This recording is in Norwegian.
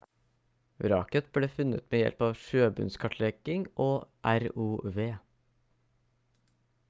vraket ble funnet med hjelp av sjøbunnskartlegging og rov